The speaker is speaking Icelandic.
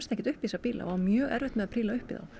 ekki upp í þessa bíla það á mjög erfitt með að príla upp í þá